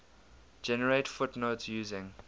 generate footnotes using